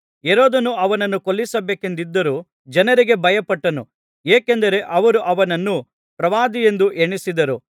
ಹೆರೋದನು ಅವನನ್ನು ಕೊಲ್ಲಿಸಬೇಕೆಂದಿದ್ದರೂ ಜನರಿಗೆ ಭಯಪಟ್ಟನು ಏಕೆಂದರೆ ಅವರು ಅವನನ್ನು ಪ್ರವಾದಿಯೆಂದು ಎಣಿಸಿದ್ದರು